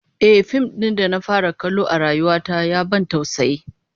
Ehh, fim din da na fara kallo a rayuwa ta ya ban tausayi